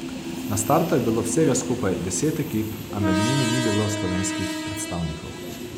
Na startu je bilo vsega skupaj deset ekip, a med njimi ni bilo slovenskih predstavnikov.